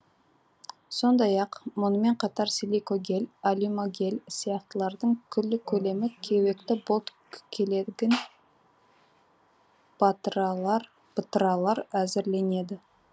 сондай ақ мұнымен қатар силикогель алюмогель сияқтылардан күллі көлемі кеуекті болт келегін бытыралар әзірленеді